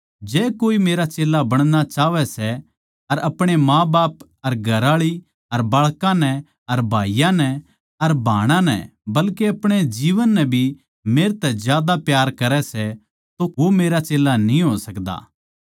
जै कोए मेरा चेल्ला बणणा चाहवै सै अर अपणे माँबाप अर घरआळी अर बाळकां नै अर भाईयाँ नै अर भाणां नै बल्के अपणे जीवन नै भी मेरे तै ज्यादा प्यार करै सै तो वो मेरा चेल्ला न्ही हो सकदा